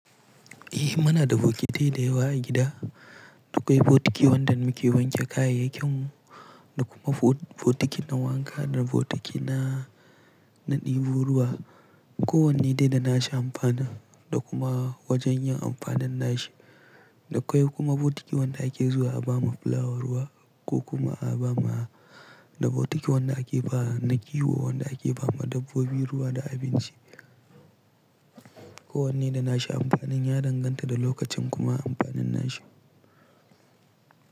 Eh muna da bokitai da yawa a gida, dukai bokiti wanda muke wanke kayayyakin da kuma bokiti na wanka da bokiti na, na ɗebo ruwa. Ko wanne dai da nashi amfani da kuma wajen yin amfanin nashi. Da akwai kuma bokiti wanda ake zuwa a bawa fulawa ruwa ko kuma a bama, da bokiti wanda ake ba na kiwo wanda ake ba ma dabbobi ruwa da abinci. Ko wanne da nashi amfani ya danganta da lokacin kuma amfanin nashi.